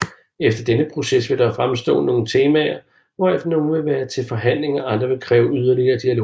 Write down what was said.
Efter denne proces vil der fremstå nogle temaer hvoraf nogle vil være til forhandling og andre vil kræve yderligere dialog